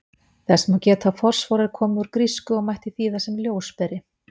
Þess má geta að orðið fosfór er komið úr grísku og mætti þýða sem ljósberi.